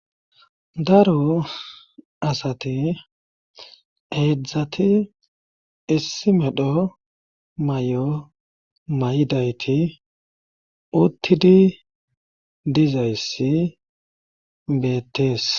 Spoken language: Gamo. daro asati heedzdzati issi medho may7o may7idayti uttidi dizayssi beettees